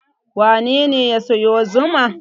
Wane ne ya sayo zuma?